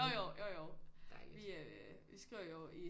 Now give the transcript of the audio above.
Jo jo jo jo vi øh vi skriver jo i